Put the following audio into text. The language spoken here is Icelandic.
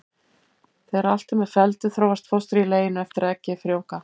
Þegar allt er með felldu þróast fóstrið í leginu eftir að eggið er frjóvgað.